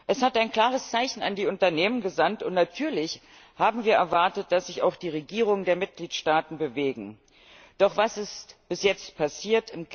Es hat ein klares Zeichen an die Unternehmen gesandt, und natürlich haben wir erwartet, dass sich auch die Regierungen der Mitgliedstaaten bewegen. Doch was ist bis jetzt passiert?